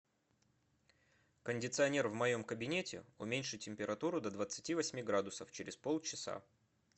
кондиционер в моем кабинете уменьши температуру до двадцати восьми градусов через полчаса